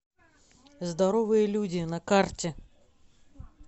здоровые люди на карте